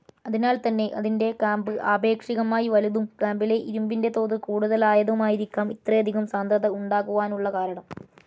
അതിനാൽതന്നെ അതിന്റെ കാമ്പ് ആപേക്ഷികമായി വലുതും കാമ്പിലെ ഇരുമ്പിന്റെ തോത് കൂടുതലായതുമായിരിക്കാം ഇത്രയധികം സാന്ദ്രത ഉണ്ടാകുവാനുള്ള കാരണം.